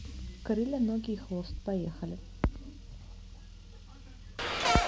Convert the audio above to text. крылья ноги и хвост поехали